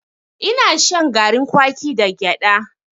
Ina shan garin kwaki da gyada.